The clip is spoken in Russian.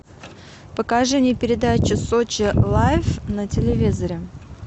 покажи мне передачу сочи лайф на телевизоре